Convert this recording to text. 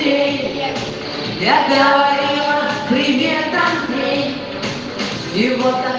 привет я тебя крылья андрей его